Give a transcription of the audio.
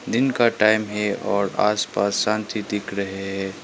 दिन का टाइम है और आसपास शांति दिख रहे है।